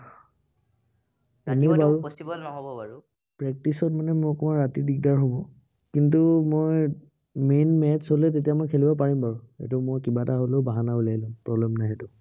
practice ত মানে মোৰ ৰাতি অকনমান দিগদাৰ হব। কিন্তু মই main match হলে তেতিয়া মই খেলিব পাৰিম বাৰু। সেইটো মই কিবা এটা হলেও বাহানা উলিয়াই লম। problem নাই সেইটো।